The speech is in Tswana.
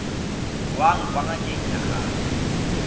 tswang kwa ngakeng ya gago